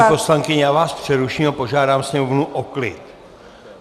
Paní poslankyně, já vás přeruším a požádám sněmovnu o klid.